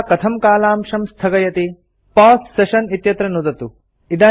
तदा कथं कालांशं स्थगयति पौसे सेशन इत्यत्र नुदतु